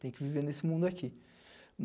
Tenho que viver nesse mundo aqui.